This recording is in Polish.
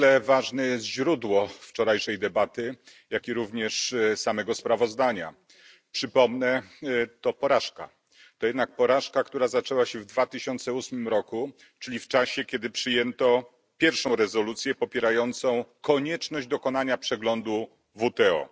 Niezwykle ważne jest źródło wczorajszej debaty, jak i również samego sprawozdania. Przypomnę to porażka, to jednak porażka, która zaczęła się w 2008 roku, czyli w czasie kiedy przyjęto pierwszą rezolucję popierającą konieczność dokonania przeglądu WTO.